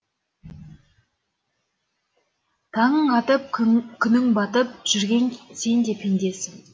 таңың атып күнің батып жүрген сенде пендесің